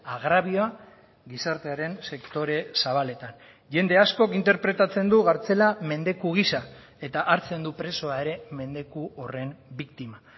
agrabioa gizartearen sektore zabaletan jende askok interpretatzen du kartzela mendeku gisa eta hartzen du presoa ere mendeku horren biktima